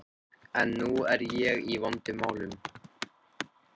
En nú er ég í vondum málum.